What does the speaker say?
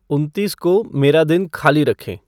उनतीस को मेरा दिन खाली रखें